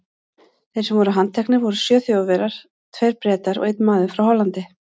Þeir sem voru handteknir voru sjö Þjóðverjar, tveir Bretar og einn maður frá Hollandi.